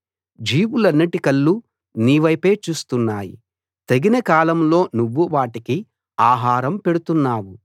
జీవులన్నిటి కళ్ళు నీవైపే చూస్తున్నాయి తగిన కాలంలో నువ్వు వాటికి ఆహారం పెడుతున్నావు